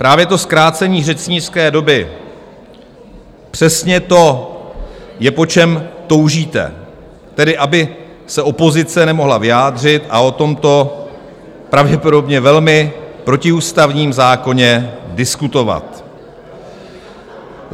Právě to zkrácení řečnické doby, přesně to je, po čem toužíte, tedy aby se opozice nemohla vyjádřit a o tomto pravděpodobně velmi protiústavním zákoně diskutovat.